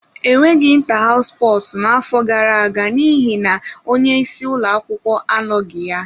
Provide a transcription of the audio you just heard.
Enweghị inta hows sposu n'afọ gara aga n'ihi na onye isi ụlọ akwụkwọ anọghị ya.